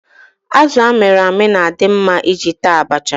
Azụ amịrị amị na-adị mma iji taa abacha.